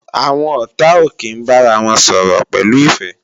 Àwọn ọ̀tá ò kí ń bára wọn sọ̀rọ̀ pẹ̀lú ìfẹ́